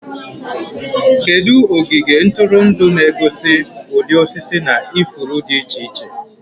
Kedu ogige ntụrụndụ na-egosi ụdị osisi na ifuru dị iche iche?